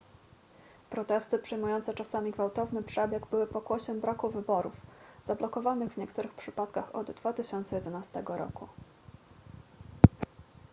protesty przyjmujące czasami gwałtowny przebieg były pokłosiem braku wyborów zablokowanych w niektórych przypadkach od 2011 roku